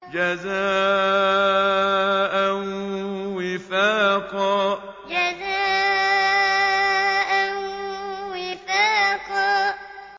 جَزَاءً وِفَاقًا جَزَاءً وِفَاقًا